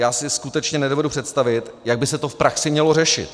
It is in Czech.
Já si skutečně nedovedu představit, jak by se to v praxi mělo řešit.